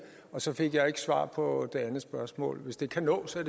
og så fik jeg ikke svar på det andet spørgsmål hvis det kan nås